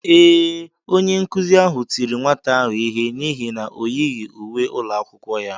Ee, onye nkụzi ahụ tiri nwata ahụ ihe n’ihi na o yighị uwe ụlọ akwụkwọ ya.